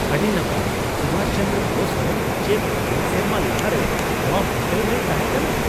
ᱟᱹᱰᱤ ᱱᱟᱯᱟᱭ ! ᱥᱩᱵᱷᱟᱥ ᱪᱚᱸᱫᱨᱚ ᱵᱳᱥ ᱦᱚᱸ ᱪᱮᱫ ᱑᱐ ᱥᱮᱨᱢᱟ ᱞᱟᱦᱟᱨᱮ ᱱᱚᱣᱟ ᱦᱳᱴᱮᱞ ᱨᱮᱭ ᱛᱟᱦᱮᱠᱟᱱᱟ ?